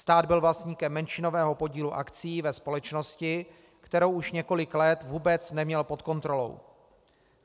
Stát byl vlastníkem menšinového podílu akcií ve společnosti, kterou už několik let vůbec neměl pod kontrolou.